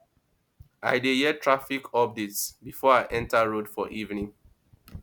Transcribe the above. i dey hear traffic updates before i enta road for evening